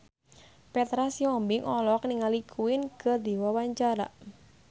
Petra Sihombing olohok ningali Queen keur diwawancara